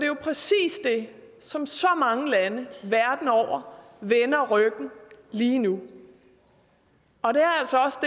jo præcis det som så mange lande verden over vender ryggen lige nu og det